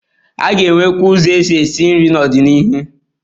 A ga-enwekwu ụzọ eji esi nri n'ọdịnihu.